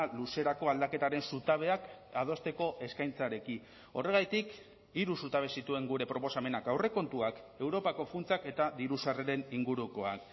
luzerako aldaketaren zutabeak adosteko eskaintzarekin horregatik hiru zutabe zituen gure proposamenak aurrekontuak europako funtsak eta diru sarreren ingurukoan